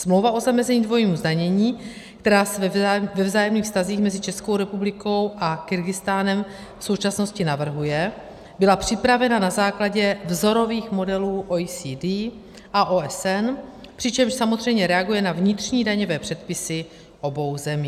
Smlouva o zamezení dvojího zdanění, která se ve vzájemných vztazích mezi Českou republikou a Kyrgyzstánem v současnosti navrhuje, byla připravena na základě vzorových modelů OECD a OSN, přičemž samozřejmě reaguje na vnitřní daňové předpisy obou zemí.